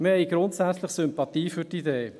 Wir haben grundsätzlich Sympathie für die Idee.